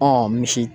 misi